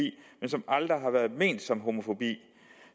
men som aldrig har været ment som homofobi